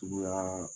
Suguya